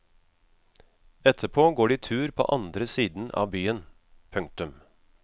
Etterpå går de tur på andre siden av byen. punktum